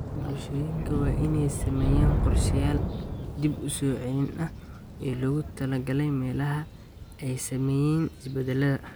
Bulshooyinka waa in ay sameeyaan qorshayaal dib u soo celin ah oo loogu talagalay meelaha ay saameeyeen isbedelada.